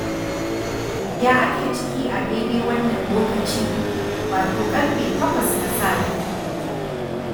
Ya ake ciki a daidai wannan lokaci, wato ƙarfe takwas na safe.